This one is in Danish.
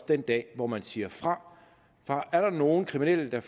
den dag hvor man siger fra for er der først nogle kriminelle der